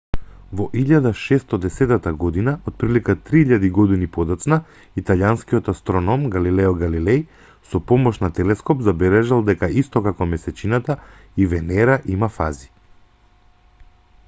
во 1610 година отприлика три илјади години подоцна италијанскиот астроном галилео галилеј со помош на телескоп забележал дека исто како месечината и венера има фази